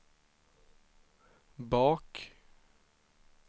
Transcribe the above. bak